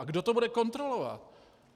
A kdo to bude kontrolovat?